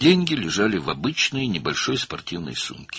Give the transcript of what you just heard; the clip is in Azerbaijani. Pullar adi kiçik idman çantasında idi.